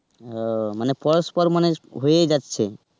ও মানে পরস্পর মানে হয়েই যাচ্ছে.